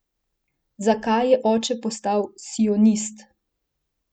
Zakaj je oče postal sionist?